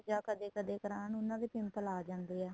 ਕਦੇਂ ਕਦੇਂ ਕਰਾਣ ਉਹਨਾ ਦੇ pimple ਆ ਜਾਂਦੇ ਏ